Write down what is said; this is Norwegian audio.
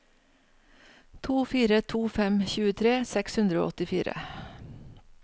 to fire to fem tjuetre seks hundre og åttifire